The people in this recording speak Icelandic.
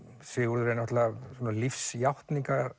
Sigurður er náttúrulega svona